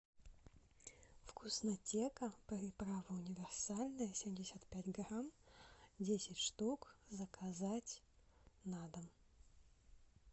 вкуснотека приправа универсальная семьдесят пять грамм десять штук заказать на дом